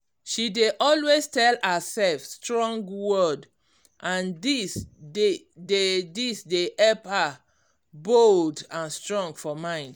she dey always tell herself strong word and this dey this dey help her bold and strong for mind